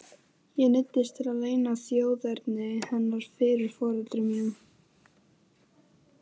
Ég neyddist til að leyna þjóðerni hennar fyrir foreldrum mínum.